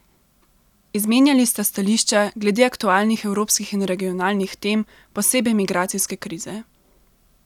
Izmenjali sta stališča glede aktualnih evropskih in regionalnih tem, posebej migracijske krize.